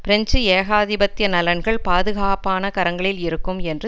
French ஏகாதிபத்திய நலன்கள் பாதுகாப்பான கரங்களில் இருக்கும் என்று